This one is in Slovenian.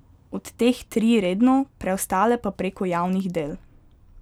Od teh tri redno, preostale pa preko javnih del.